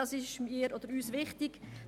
Das ist uns wichtig: